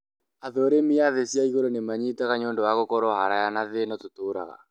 athũrimi a thĩ cia igũrũ nimanyitaga nĩũndũ wa gũkorwo haraya na thĩ ino tuturaga